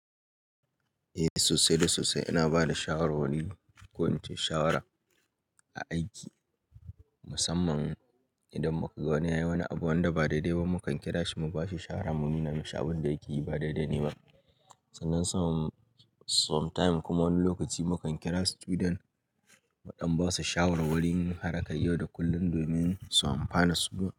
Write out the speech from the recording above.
Eh sosai da sosai ina bada shawarwari, ko ince shawara a aiki musamman idan mukaga wani yayi wani abu wanda ba daidai ba mukan kira shi mu bashi shara mu nuna mishi abin da yake yi ba daidai ne ba. Sannan some time kuma wani lokaci mukan kira student muɗan basu shawarwarin har kar yau da kullum domin su amfana su ma.